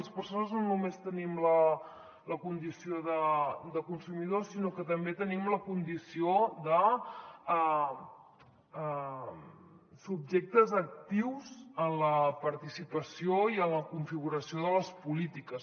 les persones no només tenim la condició de consumidor sinó que també tenim la condició de subjectes actius en la participació i en la configuració de les polítiques